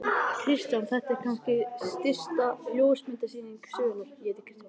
Kristján: Þetta er kannski stysta ljósmyndasýning sögunnar?